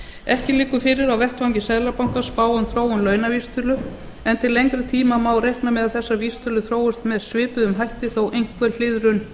ekki liggur fyrir á vettvangi seðlabankans spá um þróun launavísitölu en til lengri tíma má reikna með að þessar vísitölur þróist með svipuðum hætti þótt einhver hliðrun